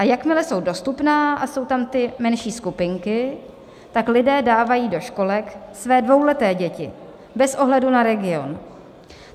A jakmile jsou dostupná a jsou tam ty menší skupiny, tak lidé dávají do školek své dvouleté děti bez ohledu na region.